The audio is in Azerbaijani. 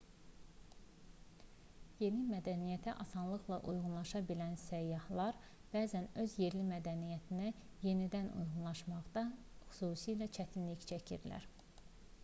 yeni mədəniyyətə asanlıqla uyğunlaşa bilən səyyahlar bəzən öz yerli mədəniyyətlərinə yenidən uyğunlaşmaqda xüsusilə çətinlik çəkirlər